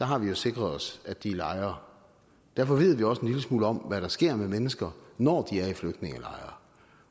har vi jo sikret os at de er i lejre derfor ved vi også en lille smule om hvad der sker med mennesker når de er i flygtningelejre